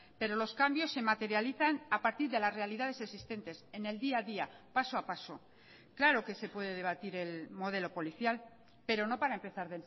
pero los cambios se materializan a partir de las realidades existentes en el día a día paso a paso claro que se puede debatir el modelo policial pero no para empezar